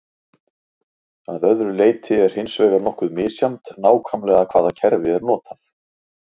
Að öðru leyti er hins vegar nokkuð misjafnt nákvæmlega hvaða kerfi er notað.